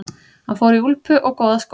Hann fór í úlpu og góða skó.